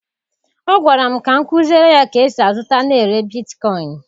Ọ gwara m ka m kụziere ya ka e si azụta na ere bitkoịn.